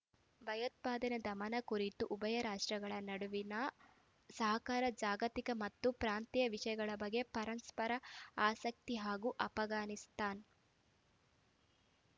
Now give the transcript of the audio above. ಭಯೋತ್ಪಾದನಾ ಧಮನ ಕುರಿತು ಉಭಯ ರಾಷ್ಟ್ರಗಳ ನಡುವಿಣ ಸಹಕಾರ ಜಾಗತಿಕ ಮತ್ತು ಪ್ರಾಂತೀಯ ವಿಷಯಗಳ ಬಗ್ಗೆ ಪರಸ್ಪರ ಆಸಕ್ತಿ ಹಾಗೂ ಆಫ್ಘಾನಿಸ್ತಾನ್